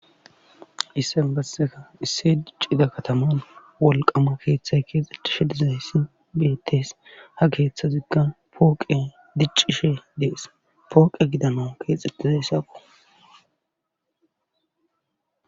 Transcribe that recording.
Isse basseka isse diccida kataman wolqama keeththay keexxetishe dizay si betes ha keeththa ziggan pooqe diccishe dees pooqe gidana keexxetizaysakko.